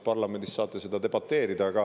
Parlamendis saate seda debateerida.